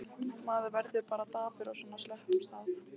Maður verður bara dapur á svona slöppum stað.